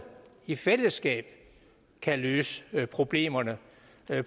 i fællesskab kan løse problemerne